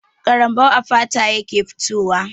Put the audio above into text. Ƙarambau a fata yake fitowa.